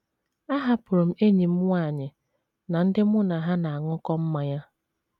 Ahapụrụ m enyi m nwanyị na ndị mụ na ha na - aṅụkọ mmanya.